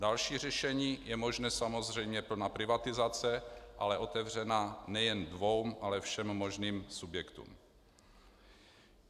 Další řešení je možné, samozřejmě plná privatizace, ale otevřená nejen dvěma, ale všem možným subjektům.